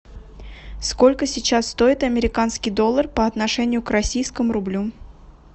сколько сейчас стоит американский доллар по отношению к российскому рублю